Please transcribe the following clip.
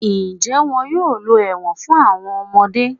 Njẹ́ won yóò lọ ẹ̀wọ̀n fún àwọn ọmọdé.